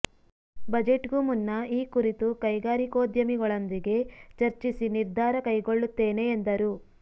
ಬಜೆಟ್ಗೂ ಮುನ್ನ ಈ ಕುರಿತು ಕೈಗಾರಿಕೋದ್ಯಮಿಗಳೊಂದಿಗೆ ಚರ್ಚಿಸಿ ನಿರ್ಧಾರ ಕೈಗೊಳ್ಳುತ್ತೇನೆ ಎಂದರು